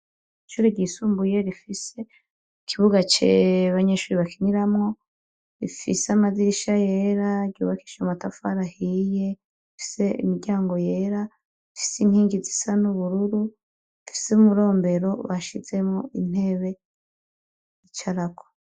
Ishure ryisumbuye rifise ikibuga abanyeshure bakiniramwo rifise amadirisha yera ryubakishije amatafari ahiye rifise imiryango yera rifise inkingi zisa n'ubururu umurombero bashizemwo intebe bicarako.